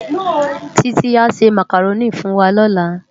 Titi á sè Mákáróni fúnwá lòlá